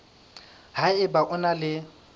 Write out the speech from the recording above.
ha eba o na le